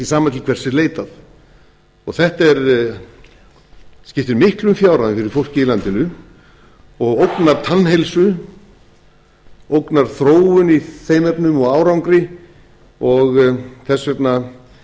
sama til hvers er leitað þetta skiptir miklum fjárhæðum fyrir fólkið í landinu og ógnar tannheilsu ógnar þróun í þeim efnum og árangri og þess